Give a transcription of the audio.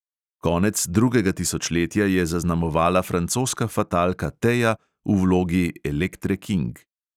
Konec drugega tisočletja je zaznamovala francoska fatalka teja v vlogi elektre king.